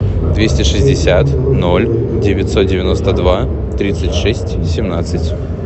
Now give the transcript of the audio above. двести шестьдесят ноль девятьсот девяносто два тридцать шесть семнадцать